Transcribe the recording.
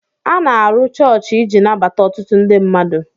A na-arụ chọọchị iji nabata otụtụ ndị mmmadụ